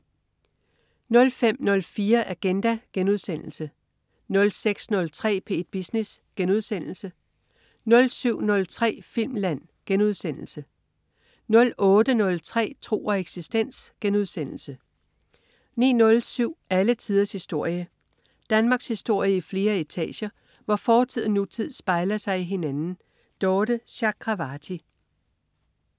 05.04 Agenda* 06.03 P1 Business* 07.03 Filmland* 08.03 Tro og eksistens* 09.07 Alle tiders historie. Danmarkshistorie i flere etager, hvor fortid og nutid spejler sig i hinanden. Dorthe Chakravarty